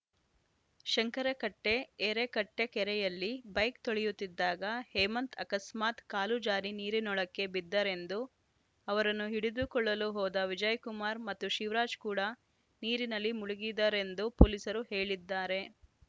ಶಂಕರಕಟ್ಟೆಎರೆಕಟ್ಟೆಕೆರೆಯಲ್ಲಿ bike ತೊಳೆಯುತ್ತಿದ್ದಾಗ ಹೇಮಂತ್‌ ಅಕಸ್ಮಾತ್‌ ಕಾಲು ಜಾರಿ ನೀರಿನೊಳಕ್ಕೆ ಬಿದ್ದರೆಂದು ಅವರನ್ನು ಹಿಡಿದುಕೊಳ್ಳಲು ಹೋದ ವಿಜಯಕುಮಾರ್‌ ಮತ್ತು ಶಿವರಾಜ್‌ ಕೂಡಾ ನೀರಿನಲ್ಲಿ ಮುಳುಗಿದರೆಂದು ಪೊಲೀಸರು ಹೇಳಿದ್ದಾರೆ